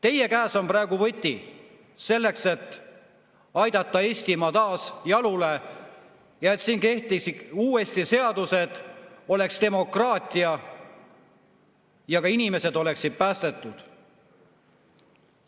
Teie käes on praegu võti, selleks et aidata Eestimaa taas jalule ja et siin kehtiks uuesti seadused, oleks demokraatia ja inimesed oleksid päästetud.